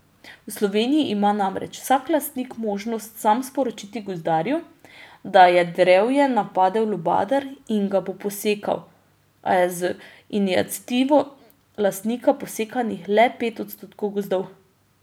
V Sloveniji ima namreč vsak lastnik možnost sam sporočiti gozdarju, da je drevje napadel lubadar in ga bo posekal, a je z iniciativo lastnika posekanih le pet odstotkov gozdov.